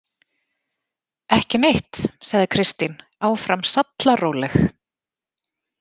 Ekki neitt, sagði Kristín, áfram sallaróleg.